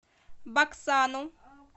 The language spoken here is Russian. баксану